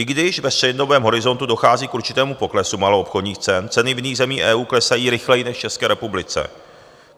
I když ve střednědobém horizontu dochází k určitému poklesu maloobchodních cen, ceny v jiných zemí EU klesají rychleji než v České republice.